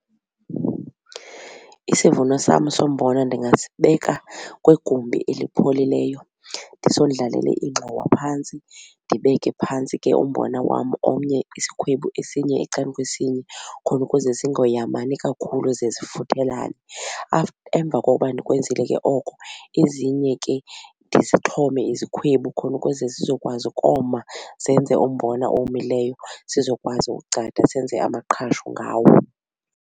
Isivuno sam sombona ndingasibeka kwigumbi elipholileyo ndisondlalele ingxowa phantsi, ndibeke phantsi ke umbona wam omnye isikhwebu esinye ecangkwesinye khona ukuze zingoyamani kakhulu ze zifuthelane. Emva kokuba ndikwenzile ke oko ezinye ke ndizixhome ke izikhwebu khona ukuze zizokwazi ukoma zenze umbona owomileyo sizokwazi ugcada senze amaqhashu ngawo.